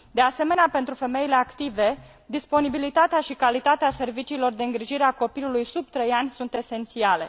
De asemenea, pentru femeile active, disponibilitatea și calitatea serviciilor de îngrijire a copilului sub trei ani sunt esențiale.